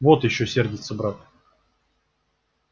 вот ещё сердится брат